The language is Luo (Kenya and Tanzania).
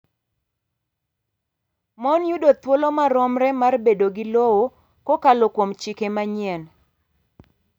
Mon yudo thuolo maromre mar bedo gi lowo kokalo kuom chike manyien.